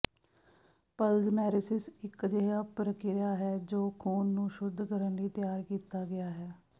ਪਲਜ਼ਮੈਰੇਸਿਸ ਇਕ ਅਜਿਹਾ ਪ੍ਰਕਿਰਿਆ ਹੈ ਜੋ ਖ਼ੂਨ ਨੂੰ ਸ਼ੁੱਧ ਕਰਨ ਲਈ ਤਿਆਰ ਕੀਤਾ ਗਿਆ ਹੈ